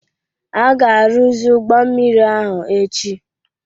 A ga-arụzi ụgbọ mmiri ahụ echi